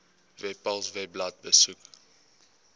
webpals webblad besoek